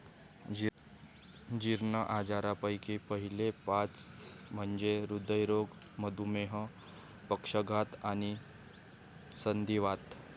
जीर्ण आजारांपैकी पहिले पाच म्हणजे हृदयरोग, मधुमेह, पक्षाघात, आणि संधिवात.